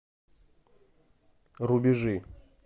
рубежи